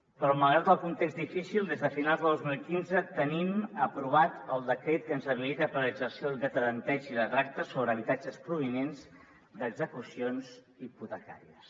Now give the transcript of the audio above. però malgrat el context difícil des de finals del dos mil quinze tenim aprovat el decret que ens habilita per exercir el dret a tanteig i retracte sobre habitatges provinents d’execucions hipotecàries